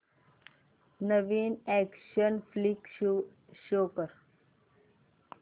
नवीन action flick show कर